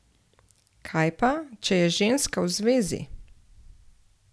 Kaj pa, če je ženska v zvezi?